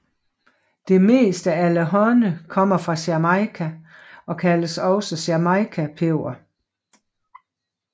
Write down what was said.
Det meste allehånde kommer fra Jamaica og kaldes også for jamaicapeber